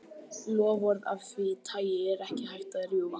Loforð af því tagi er ekki hægt að rjúfa.